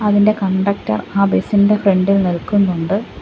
അതിന്റെ കണ്ടക്ടർ ആ ബസ്സ് ഇന്റെ ഫ്രണ്ട്‌ ഇൽ നിൽക്കുന്നുണ്ട്.